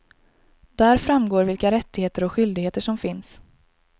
Där framgår vilka rättigheter och skyldigheter som finns.